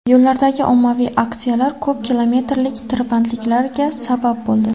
Yo‘llardagi ommaviy aksiyalar ko‘p kilometrlik tirbandliklarga sabab bo‘ldi.